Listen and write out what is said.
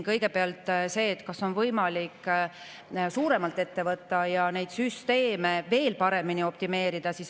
Kõigepealt see, kas on võimalik suuremalt ette võtta ja neid süsteeme veel optimeerida.